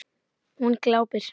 Hún glápir.